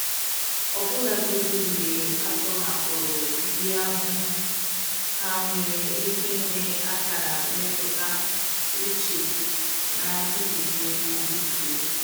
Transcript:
Ọbụlagodi mgbe a tọhapụrụ ndị ahụhụ, ha nwere ike ịnwe akara mmetụta uche na-adịgide adịgide.